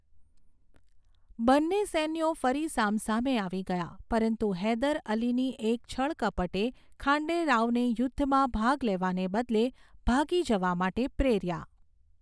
બંને સૈન્યો ફરી સામસામે આવી ગયા, પરંતુ હૈદર અલીની એક છળકપટે ખાંડે રાવને યુદ્ધમાં ભાગ લેવાને બદલે ભાગી જવા માટે પ્રેર્યા.